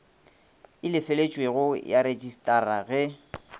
e lefeletšwego ya rejistara ge